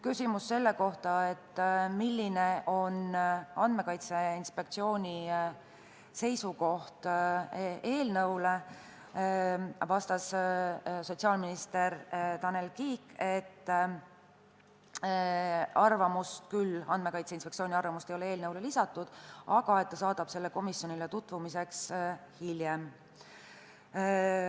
Küsimusele, milline on Andmekaitse Inspektsiooni seisukoht eelnõu kohta, vastas sotsiaalminister Tanel Kiik, et Andmekaitse Inspektsiooni arvamust ei ole küll eelnõule lisatud, aga ta saadab selle komisjonile tutvumiseks hiljem.